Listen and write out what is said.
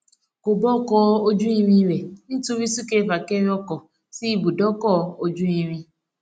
ko ba ọkọ ojú irin rẹ nítorí sunkerefakere oko sí ibùdókò ojú irin